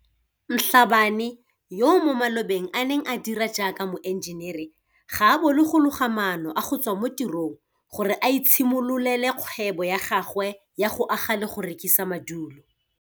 Mhlabane, yo mo malobeng a neng a dira jaaka moenjenere, ga a bolo go loga maano a go tswa mo tirong gore a itshimololele kgwebo ya gagwe ya go aga le go rekisa madulo.